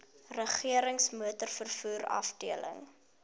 regerings motorvervoer afdeling